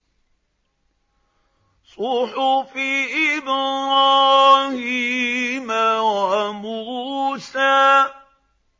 صُحُفِ إِبْرَاهِيمَ وَمُوسَىٰ